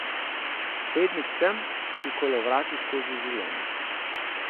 Bednik sem, ki kolovrati skozi življenje.